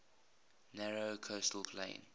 narrow coastal plain